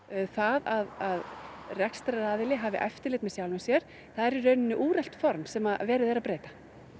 það að rekstraraðili hafi eftirlit með sjálfum sér það er í rauninni úrelt form sem verið er að breyta